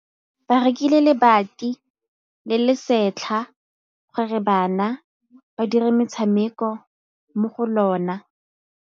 Ba rekile lebati le le setlha gore bana ba dire motshameko mo go lona.